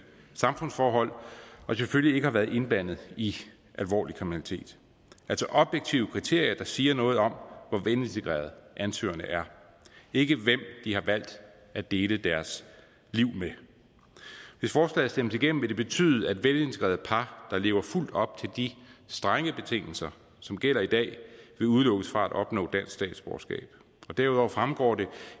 samfundsforhold og selvfølgelig ikke har været indblandet i alvorlig kriminalitet altså objektive kriterier der siger noget om hvor velintegrerede ansøgerne er ikke hvem de har valgt at dele deres liv med hvis forslaget stemmes igennem vil det betyde at velintegrerede par der lever fuldt op til de strenge betingelser som gælder i dag vil udelukkes fra at opnå dansk statsborgerskab derudover fremgår det